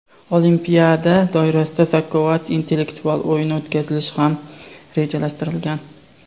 olimpiada doirasida "Zakovat" intellektual o‘yini o‘tkazilishi ham rejalashtirilgan.